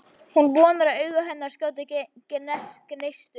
Hún vonar að augu hennar skjóti gneistum.